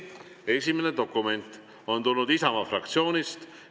Esimene dokument on tulnud Isamaa fraktsioonilt.